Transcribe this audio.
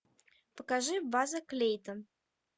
покажи база клейтон